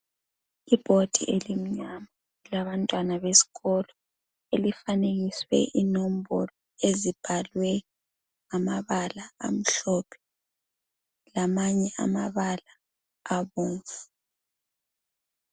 Ibhodi elimnyama elabantwana besikolo elifanekiswe inombolo ezibhalwe ngamabala amhlophe lamanye amabala abomvu.